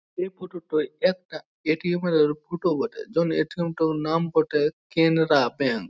এই ফোটো -টা একটি এ.টি.এম -এর ফোটো বটে যেমন এ.টি.এম -টার নাম বটে ক্যানারা ব্যাঙ্ক ।